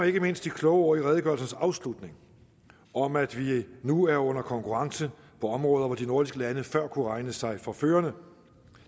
ikke mindst de kloge ord i redegørelsens afslutning om at vi nu er under konkurrence på områder hvor de nordiske lande før kunne regne sig for førende